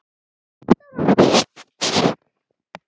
Átta ára